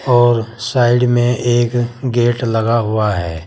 और साइड में एक गेट लगा हुआ है।